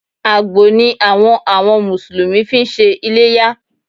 Àgbò ni àwọn àwọn Mùsùlùmí fi ń ṣe iléyá